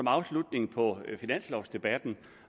afslutningen af finanslovdebatten